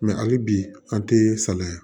Mɛ hali bi an tɛ salaya